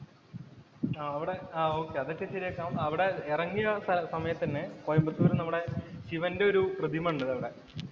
അവിടെ ഓകേ, അതൊക്കെ ശരിയാക്കാം. അവിടെ എറങ്ങിയ സമയത്ത് തന്നെ കോയമ്പത്തൂര് നമ്മടെ ശിവന്‍റെ ഒരു പ്രതിമയുണ്ട് അവിടെ.